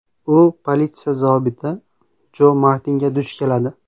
U politsiya zobiti Jo Martinga duch keladi.